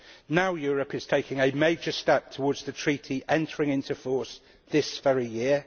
Now, Europe is taking a major step towards the Treaty entering into force this very year.